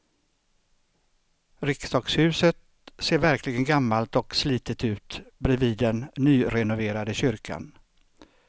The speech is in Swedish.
Riksdagshuset ser verkligen gammalt och slitet ut bredvid den nyrenoverade kyrkan.